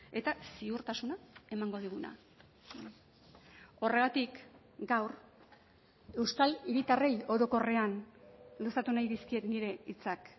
eta ziurtasuna emango diguna horregatik gaur euskal hiritarrei orokorrean luzatu nahi dizkiet nire hitzak